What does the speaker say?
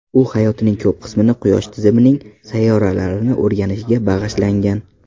U hayotining ko‘p qismini quyosh tizimining sayyoralarini o‘rganishga bag‘ishlangan.